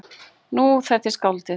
Nú, þetta er skáldið.